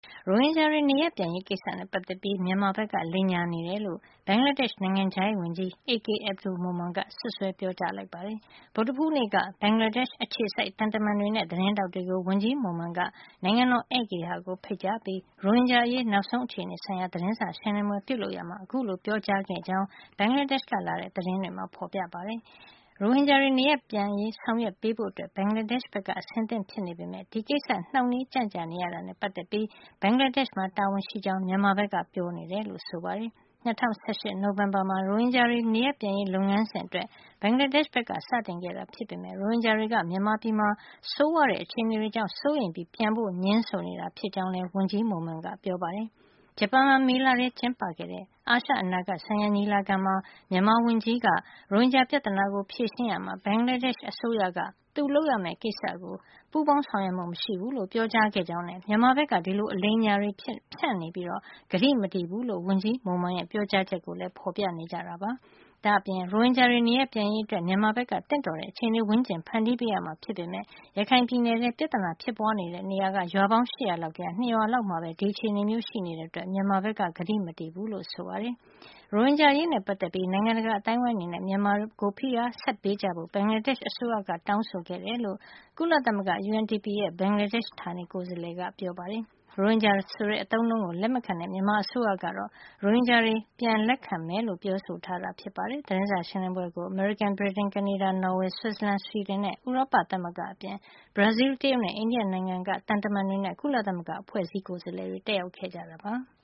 ရိုဟင်ဂျာတွေ နေရပ်ပြန်ရေးကိစ္စနဲ့ ပတ်သက်ပြီး မြန်မာဘက်က လိမ်ညာနေတယ်လို့ ဘင်္ဂလားဒေ့ရှ် နိုင်ငံခြားရေးဝန်ကြီး AK Abdul Momen က စွပ်စွဲပြောကြား လိုက်ပါတယ်။ ဗုဒ္ဓဟူးနေ့က ဘင်္ဂလားဒေ့ရှ် အခြေစိုက် သံတမန်တွေနဲ့ သတင်းထောက်တွေကို ဝန်ကြီး Momen က နိုင်ငံတော် ဧည့်ဂေဟာကို ဖိတ်ကြားပြီး ရိုဟင်ဂျာအရေး နောက်ဆုံး အခြေနေဆိုင်ရာ သတင်းစာရှင်းလင်းပွဲ ပြုလုပ်ရာမှာ အခုလို ပြောကြားခဲ့ကြောင်း ဘင်္ဂလားဒေ့ရှ်ကလာတဲ့ သတင်းတွေမှာ ဖေါ်ပြထားပါတယ်။ ရိုဟင်ဂျာတွေ နေရပ်ပြန်ရေး ဆောင်ရွက်ပေးဖို့ ဘင်္ဂလားဒေ့ရှ်ဘက်က အဆင်သင့် ဖြစ်နေပေမယ့် ဒီကိစ ္စနှောင့်နှေးကြန့်ကြာနေရတာနဲ့ ပတ်သက်ပြီး ဘင်္ဂလားဒေ့ရှ်မှာ တာဝန်ရှိကြောင်း မြန်မာဘက်က ပြောနေတယ်လို့ ဆိုပါတယ်။ ၂၀၁၈ နိုဝင်ဘာလမှာ ရိုဟင်ဂျာတွေ နေရပ်ပြန်ရေး လုပ်ငန်းစဉ်အတွက် ဘင်္ဂလားဒေ့ရှ်က စတင်ခဲ့တာ ဖြစ်ပေမယ့် ရိုဟင်ဂျာတွေက မြန်မာပြည်က ဆိုးဝါးတဲ့ အခြေနေတွေ ကြောင့် စိုးရိမ်ပြီး ပြန်ဖို့ ငြင်းဆိုနေတာဖြစ်ကြောင်း ဝန်ကြီး Momen ကပြောပါတယ်။ ဂျပန်မှာ မေလထဲ ကျင်းပခဲ့တဲ့ အာရှ အနာဂတ်ဆိုင်ရာ ညီလာခံမှာ မြန်မာဝန်ကြီးက ရိုဟင်ဂျာပြဿနာကို ဖြေရှင်းရာမှာ ဘင်္ဂလားဒေ့ရှ်အစိုးရက သူလုပ်ရမယ့်ကိစ္စကို ပူးပေါင်းဆောင်ရွက်မှု မရှိဘူးလို့ ပြောကြားခဲ့ကြောင်းနဲ့ မြန်မာဘက်က ဒီလို အလိမ်အညာတွေ ဖြန့်နေပြီး ကတိမတည်ဘူးလို့ ဝန်ကြီး Momen ရဲ့ ပြောကြားချက်ကိုလည်း ဖေါ်ပြကြပါတယ်။ ဒါ့အပြင် ရိုဟင်ဂျာတွေ နေရပ်ပြန်ရေး အတွက် မြန်မာဘက်က သင့်တော်တဲ့ အခြေနေဝန်းကျင် ဖန်တီးပေးရမှာ ဖြစ်ပေမယ့် ရခိုင်ပြည်နယ်ထဲ ပြဿနာဖြစ်ပွါးတဲ့ နေရာတွေက ရွာပေါင်း ၈၀၀ လောက်ထဲက ၂ ရွာလောက်မှာပဲ ဒီအခြေနေမျိုးရှိနေတဲ့အတွက် မြန်မာဘက်က ကတိမတည်ဘူးလို့ ဆိုပါတယ်။ ရိုဟင်ဂျာအရေးနဲ့ ပတ်သက်ပြီး နိုင်ငံတကာ အသိုင်းဝိုင်းအနေနဲ့ မြန်မာကို ဖိအားတွေ ဆက်ပေးကြဖို့ ဘင်္ဂလားဒေ့ရှ် အစိုးရက တောင်းဆိုခဲ့တယ်လို့ ကုလသမဂ္ဂ UNDP ရဲ့ ဘင်္ဂလားဒေ့ရှ် ဌာနေကိုယ်စားလှယ်က ပြောပါတယ်။ ရိုဟင်ဂျာဆိုတဲ့ အသုံးအနှုန်းကို လက်မခံတဲ့ မြန်မာအစိုးရကတော့ ရိုဟင်ဂျာတွေကို ပြန်လက်ခံမယ်လို့ ပြောဆိုထားတာ ဖြစ်ပါတယ်။ သတင်းစာ ရှင်းလင်းပွဲကို အမေရိကန်၊ ဗြိတိန်၊ ကနေဒါ၊ နော်ဝေ၊ ဆွစ်ဇာလန်၊ ဆွီဒင်နဲ့ ဥရောပသမဂ္ဂအပြင် ဘရာဇီးလ်၊ တရုတ်နဲ့ အိန္ဒိယနိုင်ငံ တွေက သံတမန်တွေနဲ့ ကုလသမဂ္ဂ အဖွဲ့အစည်းတွေက ကိုယ်စားလှယ်တွေ တက်ရောက်ခဲ့ကြတာပါ။